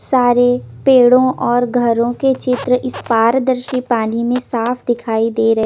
सारे पेड़ों और घरों के चित्र इस पारदर्शी पानी में साफ दिखाई दे रहे--